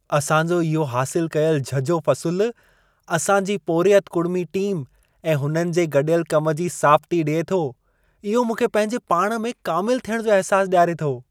असां जो इहो हासिल कयल झझो फ़सुल, असां जी पोरियत कुड़िमी टीम ऐं हुननि जे गॾियल कम जी साबिती ॾिए थो। इहो मूंखे, पंहिंजे पाण में कामिलु थियण जो अहिसासु ॾियारे थो।